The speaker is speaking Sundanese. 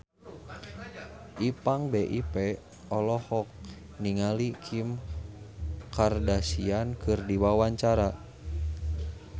Ipank BIP olohok ningali Kim Kardashian keur diwawancara